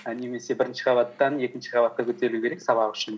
і немесе бірінші қабаттан екінші қабатқа көтерілу керек сабақ үшін